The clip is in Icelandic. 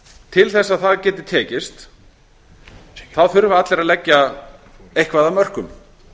til að það geti tekist þurfa allir að leggja eitthvað af mörkum